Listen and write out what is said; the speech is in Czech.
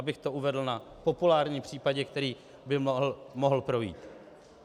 Abych to uvedl na populárním případě, který by mohl projít.